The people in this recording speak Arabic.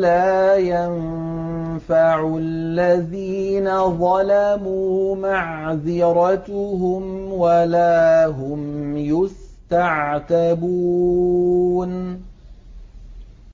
لَّا يَنفَعُ الَّذِينَ ظَلَمُوا مَعْذِرَتُهُمْ وَلَا هُمْ يُسْتَعْتَبُونَ